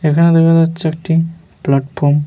এখানে দেখা যাচ্ছে একটি প্লাটফর্ম ।